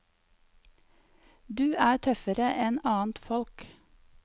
Du er tøffere enn annet folk.